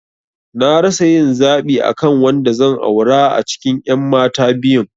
Na rasa yin zaɓi akan wanda zan aura a cikin ƴan mata biyun